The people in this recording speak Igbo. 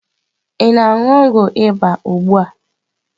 Ị na-anu ogwu ịba ugbu a?